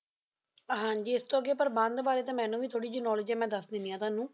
ਹਾਜੀ ਇਥੋ ਅਗੀ ਪ੍ਰਬੰਧ ਬਾਰੇ ਤਾ ਮੈਨੂੰ ਵੀ ਥਨੋਲੇਦਗੇ ਆਯ ਮੇਂ ਦਸ ਦੇਣੀ ਆ ਤੁਹਾਨੂ